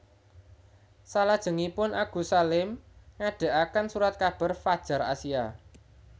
Selajengipun Agus Salim ngadegaken Surat kabar Fadjar Asia